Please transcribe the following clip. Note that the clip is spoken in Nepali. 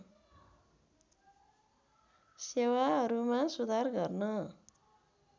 सेवाहरूमा सुधार गर्न